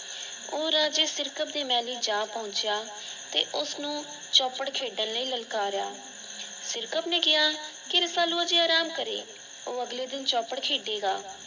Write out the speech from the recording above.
ਉਹ ਰਾਜੇ ਸਿਰਕਤ ਦੇ ਮਹਲੀ ਜਾ ਪਹੁੰਚਿਆ ਤੇ ਉਸਨੂੰ ਚੌਪੜ ਖੇਡਣ ਲਈ ਲਲਕਾਰਿਆ। ਸਿਰਕਤ ਨੇ ਕਿਆ ਕਿ ਰਸਾਲੂ ਅਜੇ ਆਰਾਮ ਕਰੇ। ਉਹ ਅਗਲੇ ਦਿਨ ਚੌਪੜ ਖੇਡੇਗਾ।